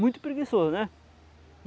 Muito preguiçoso, né?